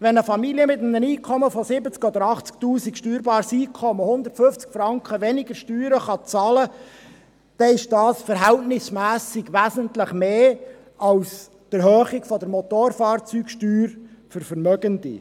Wenn eine Familie mit einem steuerbaren Einkommen von 70 000 oder 80 000 Franken um 150 Franken weniger Steuern bezahlen kann, ist das im Verhältnis wesentlich mehr als die Erhöhung der Motorfahrzeugsteuer für Vermögende.